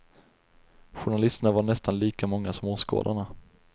Journalisterna var nästan lika många som åskådarna.